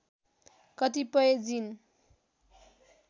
कतिपय जीन